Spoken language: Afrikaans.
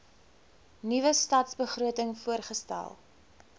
nuwe stadsbegroting voorgestel